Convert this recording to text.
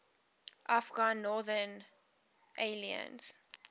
afghan northern alliance